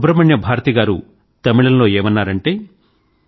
సుబ్రహ్మణ్య భారతి గారు తమిళంలో ఏమన్నారంటే